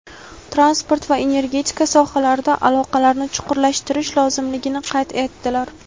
transport va energetika sohalarida aloqalarni chuqurlashtirish lozimligini qayd etdilar.